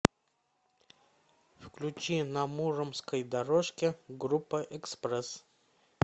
включи на муромской дорожке группа экспресс